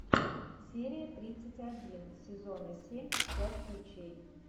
серия тридцать один сезона семь пять ключей